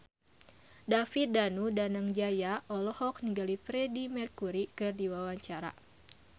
David Danu Danangjaya olohok ningali Freedie Mercury keur diwawancara